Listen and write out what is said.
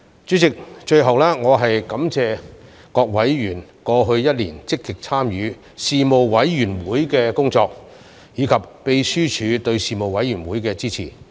主席，最後我感謝各委員過去一年積極參與事務委員會的工作，以及秘書處對事務委員會的支持。